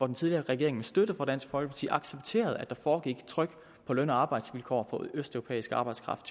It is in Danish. den tidligere regering med støtte fra dansk folkeparti accepterede at der foregik tryk på løn og arbejdsvilkår for typisk østeuropæisk arbejdskraft